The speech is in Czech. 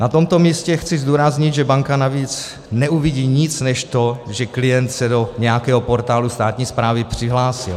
Na tomto místě chci zdůraznit, že banka navíc neuvidí nic než to, že klient se do nějakého portálu státní správy přihlásil.